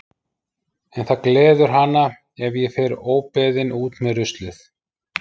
En það gleður hana ef ég fer óbeðin út með ruslið.